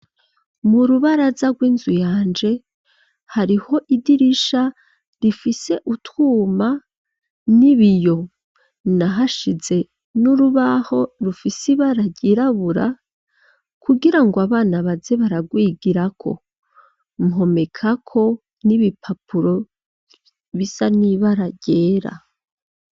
Mu rubaraza rw'inzu yanje hariho idirisha rifise utwuma n'ibiyo, nahashize n'urubaho rufise ibara ryirabura kugira ngo abana baze baragwigirako, mpomekako n'ibipapuro bisa n'ibara ryera.